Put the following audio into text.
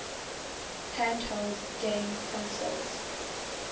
handheld game consoles